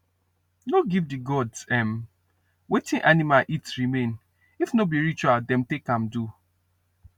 no give the gods um watin animal eat remain if no be ritual dem take am do